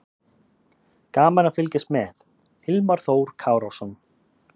Gaman að fylgjast með: Hilmar Þór Kárason.